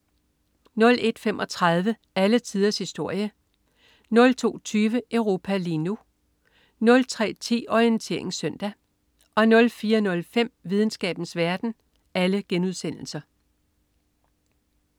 01.35 Alle tiders historie* 02.20 Europa lige nu* 03.10 Orientering Søndag* 04.05 Videnskabens verden*